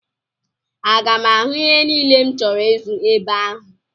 Aga m ahụ ihe niile m chọrọ ịzụ ebe ahụ?